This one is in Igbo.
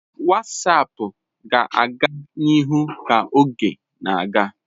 WhatsApp ga-aga n'ihu ka oge na-aga.